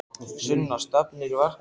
Sunna: Stefnir í verkfall?